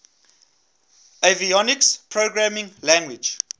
avionics programming language